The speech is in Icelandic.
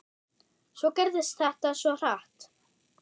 Svo gerðist þetta svo hratt.